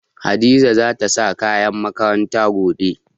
Hadiza za ta sa kayan makaranta gobe.